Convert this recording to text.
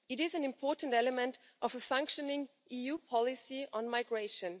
It is an important element of a functioning EU policy on migration.